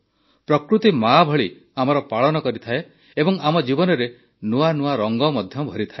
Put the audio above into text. ପ୍ରକୃତି ମା ଭଳି ଆମର ପାଳନ ମଧ୍ୟ କରିଥାଏ ଏବଂ ଆମ ଜୀବନରେ ନୂଆ ନୂଆ ରଙ୍ଗ ମଧ୍ୟ ଭରିଥାଏ